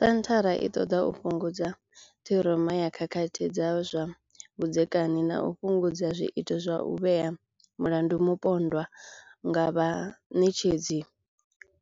Senthara i ṱoḓa u fhungudza ṱhiroma ya khakhathi dza zwa vhudzekani na u fhungudza zwiito zwa u vhea mulandu mupondwa nga vhaṋetshedzi